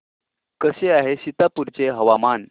कसे आहे सीतापुर चे हवामान